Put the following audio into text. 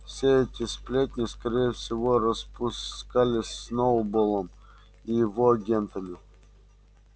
все эти сплетни скорее всего распускались сноуболлом и его агентами